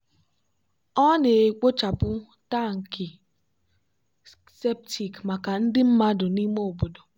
ọ na-ekpochapụ tankị septic maka ndị mmadụ n'ime obodo.